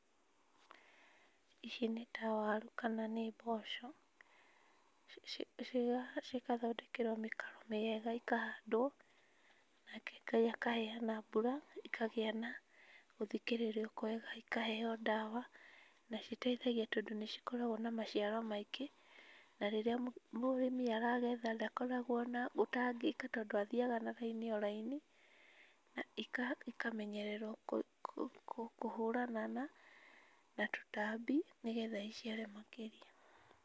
Ici nĩ ta waru kana nĩ mboco cigathondekerewo mĩkaro mĩega ikahandwo, nake Ngai akaheana mbura ĩkagĩa na gũthikĩrĩrwo kwega ikaheo ndawa na citeithagia tondũ nĩcikoragwo na maciaro maingĩ, na rĩrĩa mũrĩmi aragetha ndakoragwo na ũtangĩki tondũ athiaga na raini o raini, na ĩkamenererwo kũhũrana na tũtambi nĩgetha iciare makĩria.